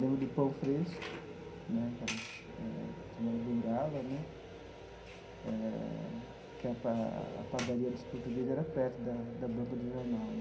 Lembro do pão fresco né, aquelas eh chamada bengala né eh, que a pa a padaria dos portugueses era perto da da banca de jornal né.